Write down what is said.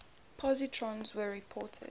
positrons were reported